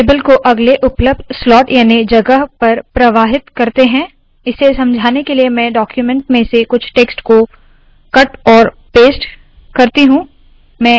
table को अगले उपलब्ध स्लोट याने जगह पर प्रवाहित करते है इसे समझाने के लिए मैं डाक्यूमेन्ट में से कुछ टेक्स्ट को कट और पेस्ट करती हूँ